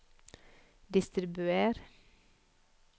distribuer